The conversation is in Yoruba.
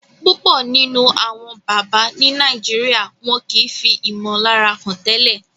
púpọ nínú Àwọn bàbá ní Nàìjíríà wón kí fí imolara hàn tẹlẹ